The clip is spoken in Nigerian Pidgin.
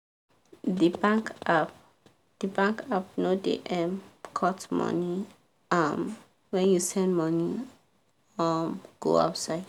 the plumber for area no too charge me after i after i gently price the first amount wey e talk.